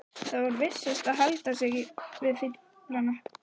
Það væri vissast að halda sig við fíflana.